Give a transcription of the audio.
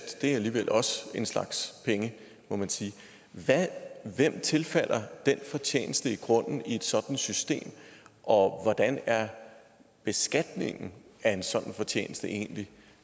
er alligevel også en slags penge må man sige hvem tilfalder den fortjeneste i grunden i et sådant system og hvordan er beskatningen af en sådan fortjeneste egentlig